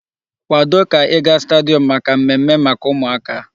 Kwado ka ị ga stadium maka mmemme maka ụmụaka!